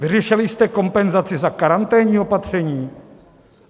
Vyřešili jste kompenzaci za karanténní opatření?